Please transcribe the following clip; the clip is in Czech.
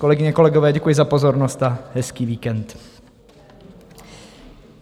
Kolegyně, kolegové, děkuji za pozornost a hezký víkend.